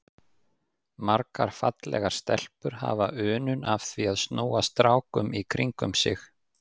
Margar fallegar stelpur hafa unun af því að snúa strákum í kringum sig.